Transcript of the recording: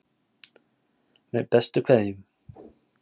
Með bestu kveðjum.